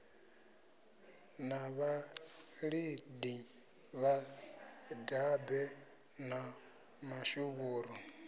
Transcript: na vhalidi vhadabe na mashuvhuru